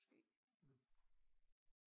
Måske